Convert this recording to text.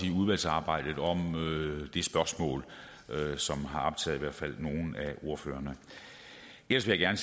i udvalgsarbejdet om det spørgsmål som har optaget i hvert fald nogle af ordførerne ellers vil jeg